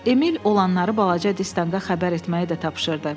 Emil olanları balaca Distanqa xəbər etməyi də tapşırdı.